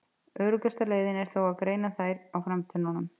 Öruggasta leiðin er þó að greina þær á framtönnunum.